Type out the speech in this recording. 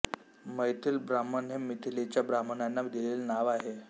मैथिल ब्राह्मण हे मिथिलेच्या ब्राह्मणांना दिलेले नाव आहे